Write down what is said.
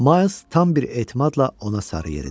Ma tam bir etimadla ona sarı yeridi.